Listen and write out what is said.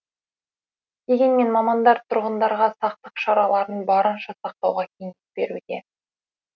дегенмен мамандар тұрғындарға сақтық шараларын барынша сақтауға кеңес беруде